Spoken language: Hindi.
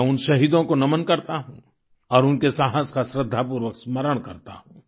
मैं उन शहीदों को नमन करता हूँ और उनके साहस का श्रद्धापूर्वक स्मरण करता हूँ